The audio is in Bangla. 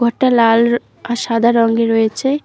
এটা লাল আর সাদা রঙে রয়েছে।